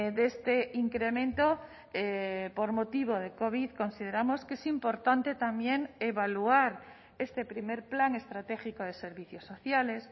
de este incremento por motivo de covid consideramos que es importante también evaluar este primer plan estratégico de servicios sociales